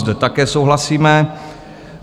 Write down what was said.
Zde také souhlasíme.